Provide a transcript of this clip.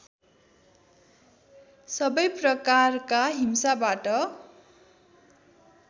सबै प्रकारकका हिंसाबाट